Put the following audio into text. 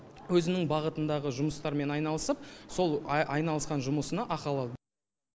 өзінің бағытындағы жұмыстармен айналысып сол айналысқан жұмысына ақы алады